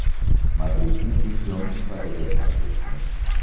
Madridni chempion sifatida tark etdim.